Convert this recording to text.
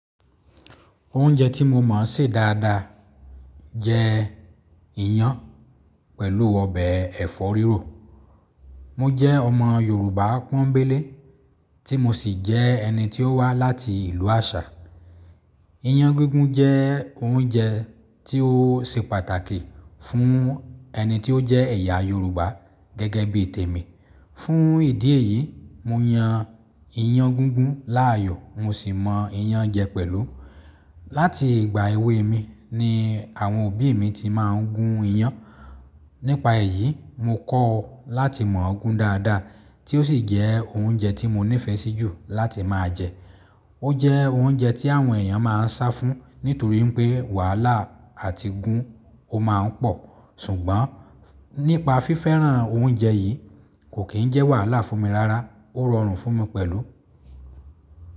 Oúnjẹ tí mo mọ̀ sè dáadáa jẹ iyan pẹ̀lú ọbẹ̀ ẹ̀fọ́ rírò. Mo jẹ́ ọmọ Yorùbá pọ́ńbélé tí mo sì jẹ́ ẹni tí ó wá láti ìlú Àṣá. Iyán gígún jẹ́ oúnjẹ tí ó ṣe pàtàkì fún ẹni tí ó jẹ́ ẹ̀yà Yorùbá gẹ́gẹ́ bí tèmi. Fún ìdí èyí, mo yan iyán gígún láàyò, mo sì mọ iyán jẹ pẹ̀lú. Láti ìgbà èwe mi ni àwọn òbí mi ti máa ń gun iyán. Nípa èyí, mo kọ́ láti mọ̀ọ́ gun dáadáa tí ó sì jẹ́ oúnjẹ tí mo nífẹ̀ẹ́ sí jù láti máa jẹ. Ó jẹ́ oúnjẹ tí àwọn èèyàn máa ń sá fún nítorí n pé wàhálà àti gun ó máa ń pọ̀. Ṣùgbọ́n nípa fífẹ́ràn oúnjẹ yìí kò kì n jẹ́ wàhálà fún mi rárá, ó rọrùn fún mi pẹ̀lú.